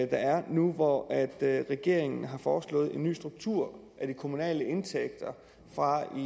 der er nu hvor regeringen har foreslået en ny struktur af de kommunale indtægter fra